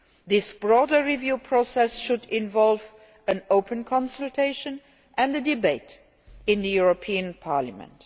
This broader review process should involve an open consultation and a debate in the European Parliament.